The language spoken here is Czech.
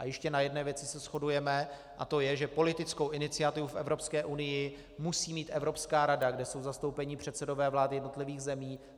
A ještě na jedné věci se shodujeme, a to je, že politickou iniciativu v Evropské unii musí mít Evropská rada, kde jsou zastoupeni předsedové vlád jednotlivých zemí.